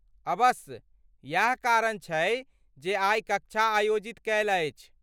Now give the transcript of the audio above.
अबस्स, इएह कारण छै जे आइ कक्षा आयोजित कैल अछि।